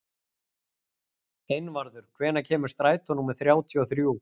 Einvarður, hvenær kemur strætó númer þrjátíu og þrjú?